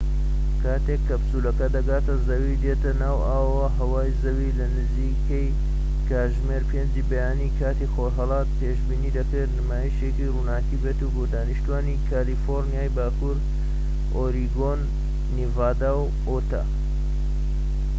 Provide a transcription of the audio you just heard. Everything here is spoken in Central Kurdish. کاتێک کەپسولەکە دەگاتە زەوی و دێتە ناو ئاو و هەوای زەوی، لە نزیکەی کاتژمێر 5ی بەیانی کاتی خۆرھەڵات، پێشبینی دەکرێت نمایشێکی ڕووناكی بێت بۆ دانیشتوانی کالیفۆرنیای باکوور، ئۆریگۆن، نیڤادا، و ئوتا